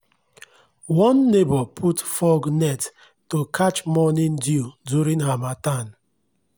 one neighbour put fog net to catch morning dew during harmattan.